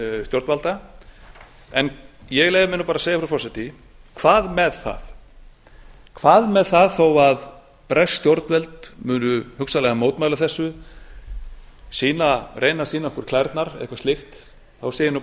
stjórnvalda en ég leyfi mér bara að segja frú forseti hvað með það þó að bresk stjórnvöld muni hugsanlega mótmæla þessu reyna að sýna okkur klærnar eða eitthvað slíkt þá segi ég nú